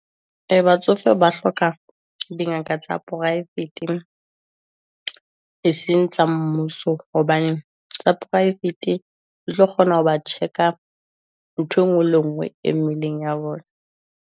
Ee, batsofe ba hloka dingaka tsa poraefeteng e seng tsa mmuso, hobane tsa poraefete e tlo kgona ho ba check-a nthwe ngwe le e ngwe e mmeleng ya bona.